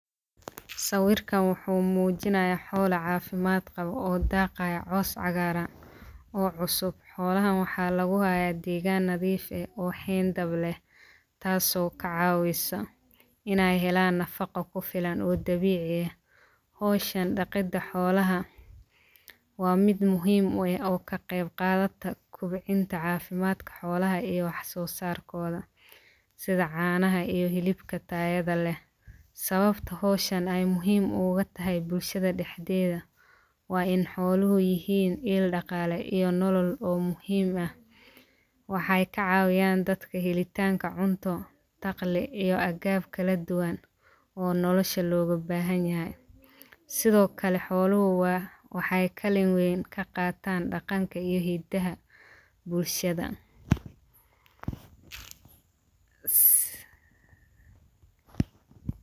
Sawirkan wuxuu mujinayaa xoola cafimaad qawa oo daaqaya caws cagaaran oo cusub xoolahan waxaa lagu hayaa degaan nadiif eh oo xeyndab leh tasoo ka caaawisa ineey helaan nafaqo ku filan oo dabiici eh. Hawshan dhaqidda xoolaha waa mid muhiim u eh oo ka qeyb qaadata kobcinta caafimadka xoolaha iyo waxsosarkooda ,sida canaha iyo hilibka tayada leh . Sawabta hawshan ay muhiim oga tahay bulshada dhaxdeeda waa in xooluhu yihiin il dhaqaale iyo nolo oo muhiim ah . Waxeey ka cawiyaan dadka helitaanka cunto, dakhli iyo agab kala duwan oo nolosha looga baahan yahay . Sidokale xoluhu waxeey kaalin weyn ka qataan dhaqanka iyo hiddaha bulshada .